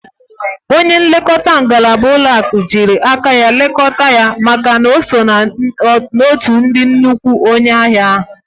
Onye nlekọta ngalaba ụlọaku jiri aka ya lekọta ya maka na o so n'otu nnukwu onye ahia ha